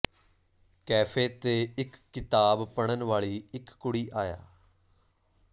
cafe ਤੇ ਇੱਕ ਕਿਤਾਬ ਪੜ੍ਹਨ ਵਾਲੀ ਇੱਕ ਕੁੜੀ ਆਇਆ